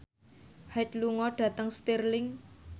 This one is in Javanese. Hyde lunga dhateng Stirling